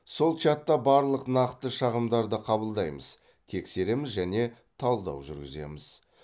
сол чатта барлық нақты шағымдарды қабылдаймыз тексереміз және талдау жүргіземіз